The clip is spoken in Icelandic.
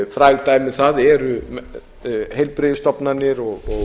fræg dæmi um það eru heilbrigðisstofnanir og